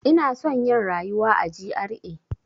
Ina son yin rayuwa a GRA.